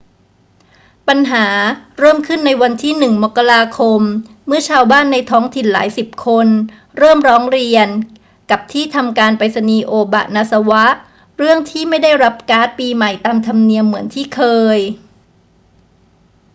ปัญหาเริ่มขึ้นในวันที่ 1 มกราคม เมื่อชาวบ้านในท้องถิ่นหลายสิบคนเริ่มร้องเรียนกับที่ทำการไปรษณีย์โอบะนาซาวะเรื่องที่ไม่ได้รับการ์ดปีใหม่ตามธรรมเนียมเหมือนที่เคย